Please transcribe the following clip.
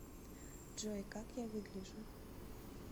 джой как я выгляжу